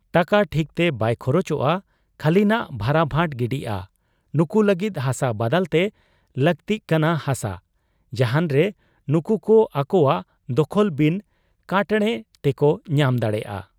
ᱴᱟᱠᱟ ᱴᱷᱤᱠᱛᱮ ᱵᱟᱭ ᱠᱷᱚᱨᱚᱪᱚᱜ ᱟ, ᱠᱷᱟᱹᱞᱤᱱᱷᱟᱜ ᱵᱷᱟᱨᱟᱵᱷᱟᱴ ᱜᱤᱰᱤᱜ ᱟ ᱾ ᱱᱩᱠᱩ ᱞᱟᱹᱜᱤᱫ ᱦᱟᱥᱟ ᱵᱟᱫᱟᱞᱛᱮ ᱞᱟᱹᱠᱛᱤᱜ ᱠᱟᱱᱟ ᱦᱟᱥᱟ, ᱡᱟᱦᱟᱱᱨᱮ ᱱᱩᱠᱩᱠᱚ ᱟᱠᱚᱣᱟᱜ ᱫᱚᱠᱷᱚᱞ ᱵᱤᱱ ᱠᱚᱴᱬᱮ ᱛᱮᱠᱚ ᱧᱟᱢ ᱫᱟᱲᱮᱭᱟᱜ ᱟ ᱾